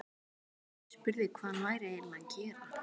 Spurði hvað hann væri eiginlega að gera.